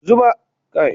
Zuma na mutu wa in yarasa